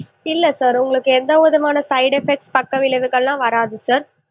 இல்ல sir உங்களுக்கு எந்த விதமான side effect பக்கவிளைவுகள்லா வராது sir